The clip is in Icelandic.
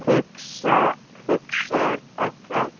hugsar Edda.